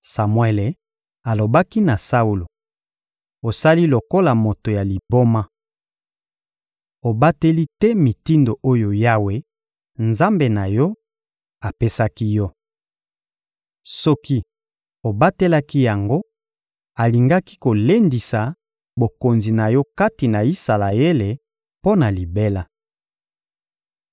Samuele alobaki na Saulo: — Osali lokola moto ya liboma! Obateli te mitindo oyo Yawe, Nzambe na yo, apesaki yo. Soki obatelaki yango, alingaki kolendisa bokonzi na yo kati na Isalaele mpo na libela.